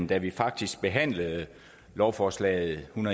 da vi faktisk behandlede lovforslaget l en